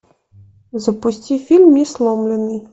запусти фильм несломленный